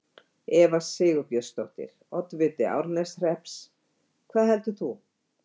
Eva Sigurbjörnsdóttir, oddviti Árneshrepps: Hvað heldur þú?